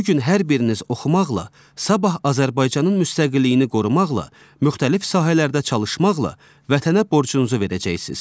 Bu gün hər biriniz oxumaqla, sabah Azərbaycanın müstəqilliyini qorumaqla, müxtəlif sahələrdə çalışmaqla vətənə borcunuzu verəcəksiz.